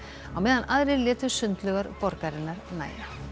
á meðan aðrir létu sundlaugar borgarinnar nægja